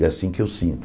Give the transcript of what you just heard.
É assim que eu sinto.